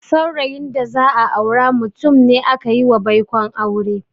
Saurayin da za a aura mutum ne akayiwa baikon aure.